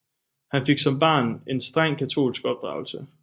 Han fik som barn en strengt katolsk opdragelse